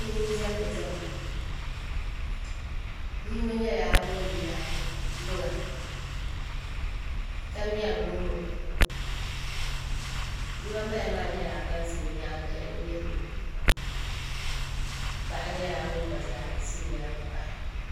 Bihi n diɛmdi diɛma bia yino nyɛla ŋun nyaɣi luŋa ka ŋmɛri luŋ ŋo bia ban bala maa nyɛla ban ʒɛ o nyaangi n lihiro paɣa nyɛla ŋun gba zaa ʒɛ o nyaangi pahi